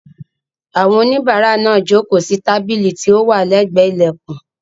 Àwọn oníbàárà náà jókòó sí tábìlì tí ó wà lẹ́gbẹ̀ẹ́ ilẹ̀kùn.